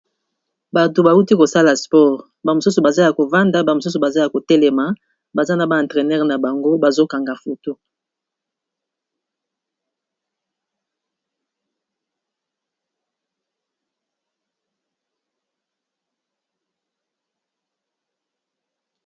Bato bauti kosala sport, ba mosusu baza ya ko vanda ba mosusu baza ya ko telema baza na ba entraîneur na bango bazo kanga foto.